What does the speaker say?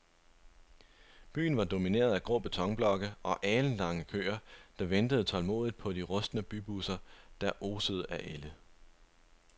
Byen var domineret af grå betonblokke og alenlange køer, der ventede tålmodigt på de rustne bybusser, der osede af ælde.